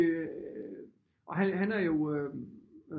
Og han er jo øh